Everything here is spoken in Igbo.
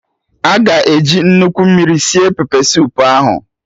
Aga eji nnukwu mmiri sie pepesoup ahụ?